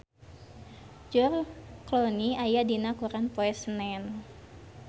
George Clooney aya dina koran poe Senen